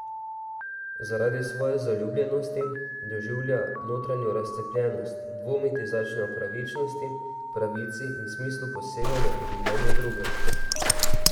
Zaradi svoje zaljubljenosti doživlja notranjo razcepljenost, dvomiti začne o pravičnosti, pravici in smislu poseganja v življenje drugega.